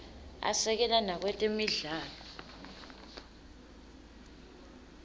asekela nakwetemidlalo